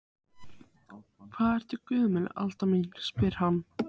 Hvað ertu gömul Alda mín, spyr hann.